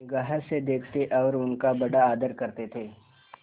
निगाह से देखते और उनका बड़ा आदर करते थे